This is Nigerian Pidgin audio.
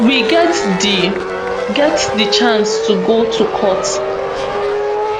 we get di get di chance to go to court